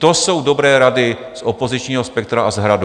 To jsou dobré rady z opozičního spektra a z Hradu.